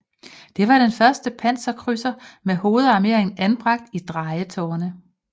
Det var den første panserkrydser med hovedarmeringen anbragt i drejetårne